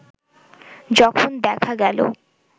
যখন দেখা গেল